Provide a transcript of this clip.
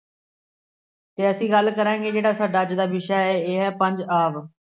ਅਤੇ ਅਸੀਂ ਗੱਲ ਕਰਾਂਗੇ ਜਿਹੜਾ ਸਾਡਾ ਅੱਜ ਦਾ ਵਿਸ਼ਾ ਹੈ ਇਹ ਹੈ ਪੰਜ-ਆਬ।